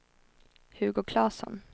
Hugo Claesson